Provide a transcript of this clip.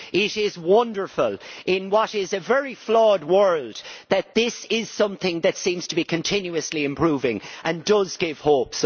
It is wonderful, in what is a very flawed world, that this is something that seems to be continuously improving and does give hope.